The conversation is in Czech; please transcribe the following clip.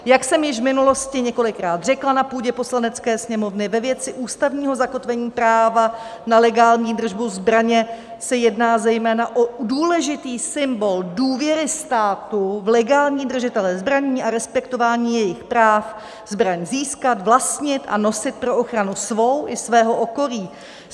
Jak jsem již v minulosti několikrát řekla na půdě Poslanecké sněmovny, ve věci ústavního zakotvení práva na legální držbu zbraně se jedná zejména o důležitý symbol důvěry státu v legální držitele zbraní a respektování jejich práv zbraň získat, vlastnit a nosit pro ochranu svou i svého okolí.